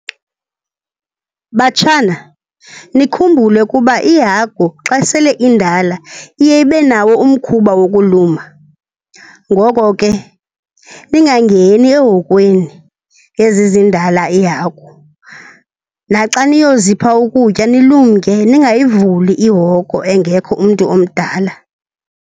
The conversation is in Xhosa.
Batshana, nikhumbule ukuba ihagu xa sele indala iye ibe nawo umkhuba wokuluma, ngoko ke ningangeni ehokweni yezi zindala iihagu. Naxa niyozipha ukutya nilumke, ningayivuli ihoko engekho umntu omdala.